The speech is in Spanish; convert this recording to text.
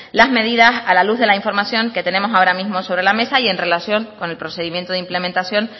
las medidas a la luz de la información que tenemos ahora mismo sobre la mesa y en relación con el procedimiento de implementación